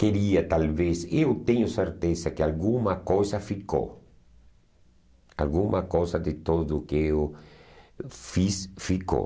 Queria, talvez, eu tenho certeza que alguma coisa ficou, alguma coisa de tudo que eu fiz ficou.